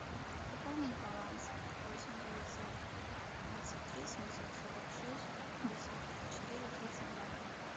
пополнить баланс восемь девятьсот двадцать три семьсот сорок шесть пятьдесят четыре тридцать два